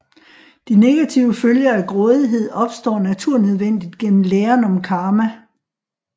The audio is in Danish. De negative følger af grådighed opstår naturnødvendigt gennem læren om karma